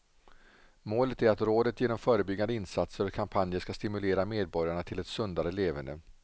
Målet är att rådet genom förebyggande insatser och kampanjer ska stimulera medborgarna till ett sundare leverne.